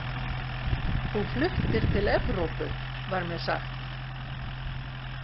Þú fluttir til Evrópu, var mér sagt.